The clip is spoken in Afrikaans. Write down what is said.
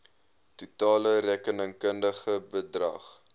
totale rekenkundige bedrag